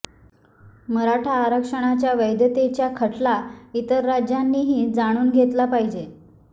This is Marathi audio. मराठा आरक्षणाच्या वैधतेच्या खटला इतर राज्यांनीही जाणून घेतला पाहिजे